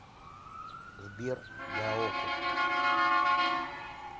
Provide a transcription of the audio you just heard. сбер даоко